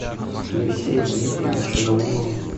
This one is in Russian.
алексея дмитриевича наумова